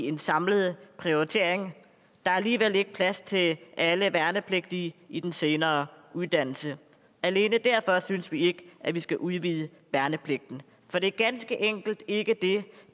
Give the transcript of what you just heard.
en samlet prioritering der er alligevel ikke plads til alle værnepligtige i den senere uddannelse alene derfor synes vi ikke at vi skal udvide værnepligten for det er ganske enkelt ikke det